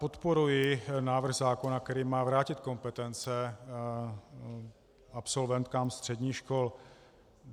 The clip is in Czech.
Podporuji návrh zákona, který má vrátit kompetence absolventkám středních škol.